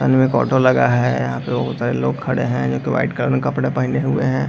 अन में एक ऑटो लगा है। यहाँ पे बहुत सारे लोग खड़े है जो कि वाइट कलर के कपड़े पहने हुए हैं।